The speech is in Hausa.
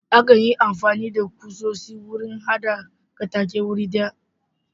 Akan yi amfani da ƙusoshi wurin hada katakaye wuri guda.